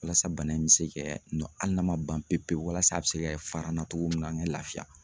Walasa bana in bɛ se kɛ nɔ hali n'a ma ban pewu pewu walasa a bɛ se kɛ fara n na cogo min na me laafiya